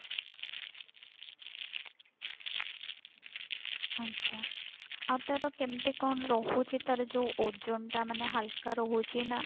ଆଜ୍ଞା ଆଉ ତାର କେମିତି କଣ ରହୁଛି ତାର ଯଉ ଓଜନ ଟା ମାନେ ହଲକା ରହୁଛି ନା